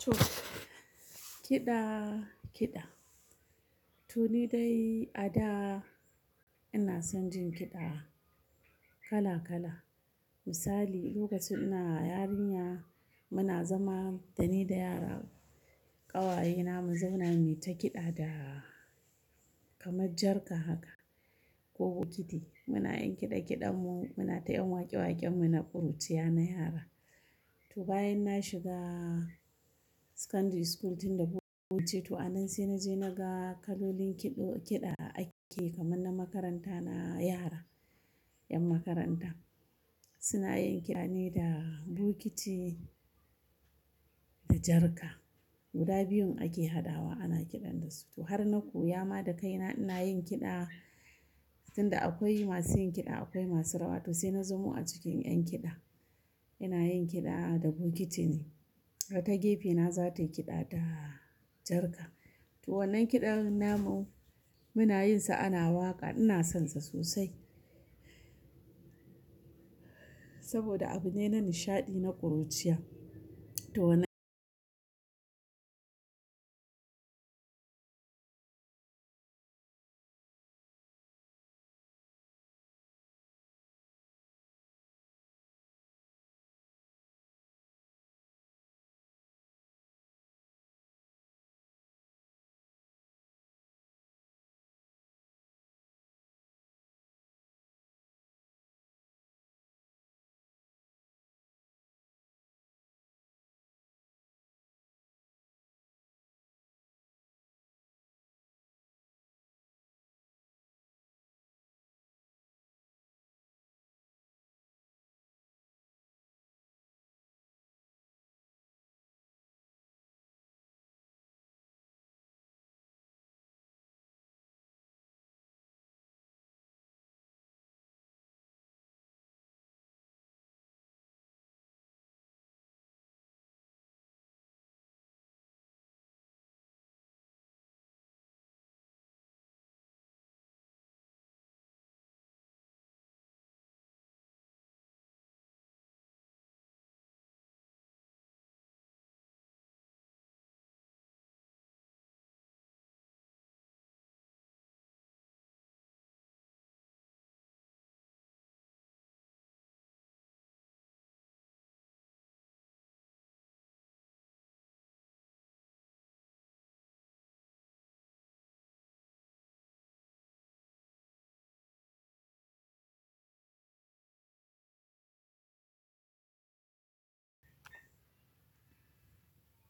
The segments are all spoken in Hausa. To, kiɗa kiɗa. To ni dai a da ina son jin kiɗa kala kala. Misali lokacin ina yarinya muna zama dani da yara ƙawayena mazauna muyi ta kiɗa da kamar jarka haka ko bokiti. Muna yin kiɗa kiɗan mu muna ta 'yan waƙe waƙen mu na ƙuruciya na yara. To bayan na shiga secondary school tun da buce to anan sai naje naga kalolin kiɗo kiɗa ake kamar na makaranta na yara 'yan makaranta suna yin kiɗa ne da bukiti da jarka. Guda biyun ake hadawa ana kiɗan dasu. To har na koya ma da kaina ina yin kiɗa, tunda akwai masu yin kiɗa akwai masu rawa. To sai na zamo a cikin 'yan kiɗa, ina yin kiɗa da bukiti ne. Ta gefe na za ta yi kiɗa da jarka. To wannan kiɗan namu, muna yin sa ana waƙa, ina son sa sosai. Saboda abu ne na nishaɗi na ƙuruciya. To na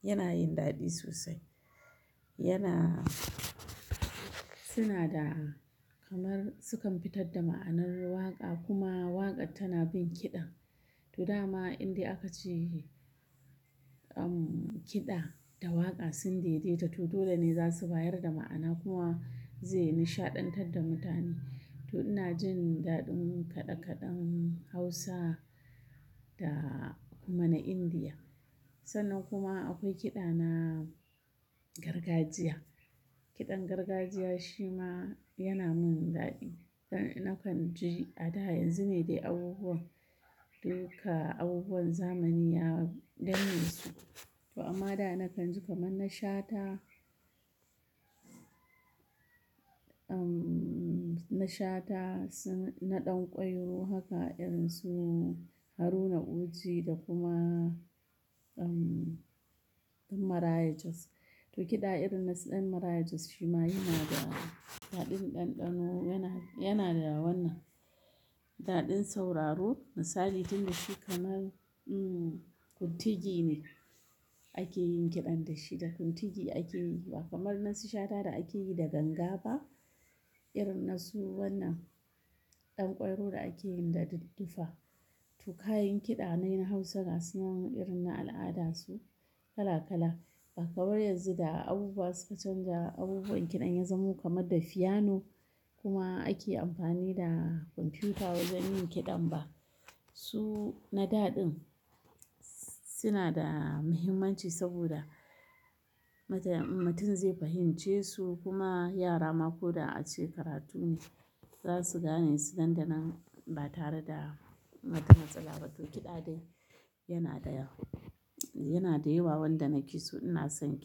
yana yin daɗi sosai. Yana, suna da kamar sukan fitar da ma'anar waƙa kuma waƙar tana bin kiɗan. To dama indai aka ci uhm kiɗa da waƙa sun daidaita to dole ne za su bayar da ma'ana kuma zai nishaɗantar da mutane. To ina jin daɗin kaɗe kaɗen Hausa da kuma na Indiya. Sannan kuma akwai kiɗa na gargajiya. Kiɗan gargajiya shi ma yana mun daɗi. Nakan ji a da yanzu ne dai abubuwan duka abubuwan zamani ya danne su. To amma da nakan ji kamar na Shata umm na Shata, su na ɗan ƙwairo haka irin su Haruna Oji da kuma umm ɗan Maraya Jos. To kiɗa irin na su ɗan Marayijas shi ma yana da daɗin ɗanɗano yana yana da wannan. Daɗin sauraro misali tun da shi kamar umm kuntigi ne ake yin kiɗan da shi, da kuntigi ake yi ba kamar na su Shata da ake yi da ganga ba irin na su wannan ɗan ƙwairo da ake yin da dudduffa. To kayan kiɗa na 'yan Hausawa suna mun irin na al'ada su kala kala. Ba kamar yanzu da abubuwa sun canja, abubuwan kiɗan ya zamo kamar da fiyano kuma ake amfani da kwamfiyuta wajen yin kiɗan ba. Su na daɗin suna da muhimmanci saboda mutum zai fahimce su, kuma yara ma ko da ace karatu ne za su gane su nan da nan, ba tare da bada matsala ba, toh kiɗa dai yana da yawa. Yana da yawa wanda na ki so ina son kiɗa.